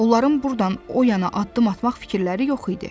Onların burdan o yana addım atmaq fikirləri yox idi.